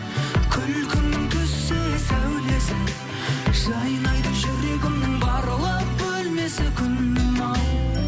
күлкіңнің түссе сәулесі жайнайды жүрегімнің барлық бөлмесі күнім ау